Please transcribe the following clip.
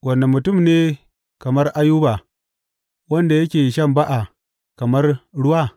Wane mutum ne kamar Ayuba, wanda yake shan ba’a kamar ruwa?